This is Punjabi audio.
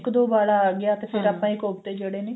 ਇੱਕ ਦੋ ਵਾਲਾ ਆ ਗਿਆ ਤੇ ਫਿਰ ਆਪਾਂ ਕੋਫਤੇ ਜਿਹੜੇ ਨੇ